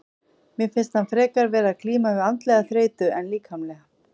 Mér finnst hann frekar vera að glíma við andlega þreytu en líkamlega.